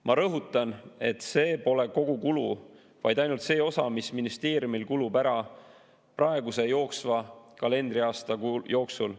Ma rõhutan, et see pole kogukulu, vaid ainult see osa, mis ministeeriumil kulub ära praeguse jooksva kalendriaasta jooksul.